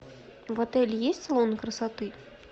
в отеле есть салон красоты